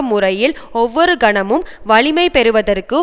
முறையில் ஒவ்வொரு கணமும் வலிமைபெறுவதற்கு